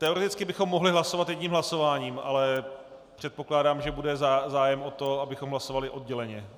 Teoreticky bychom mohli hlasovat jedním hlasováním, ale předpokládám, že bude zájem o to, abychom hlasovali odděleně.